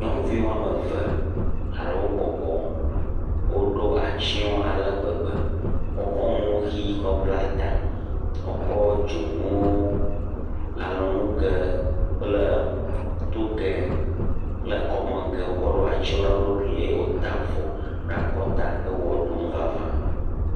Nyɔnuvi woame eve aɖewo bɔbɔ woɖo atsyɔ̃ ale gbegbe, wokɔ nu ʋi na wo woatsɔ abla ta, wokɔ dzonu, kɔmenu ge, alɔnu ge kple toge kɔ ɖo atsyɔ̃ na wo ɖokui eye wo ʋe ɖum vava.